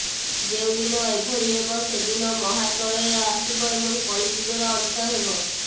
ଯେଉଁଦିନ ଏଭଳି ହେବ ସେଦିନ ମହାପ୍ରଳୟ ଆସିବ ଏବଂ କଳିଯୁଗର ଅନ୍ତ ହେବ